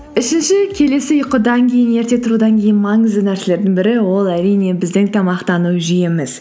үшінші келесі ұйқыдан кейін ерте тұрудан кейін маңызды нәрселердің бірі ол әрине біздің тамақтану жүйеміз